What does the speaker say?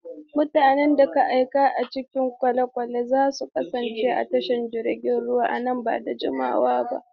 Mutanen da ke aiki a cikin kwale-kwale za su kasance a tashar jiragen ruwa nan ba da jimawa ba.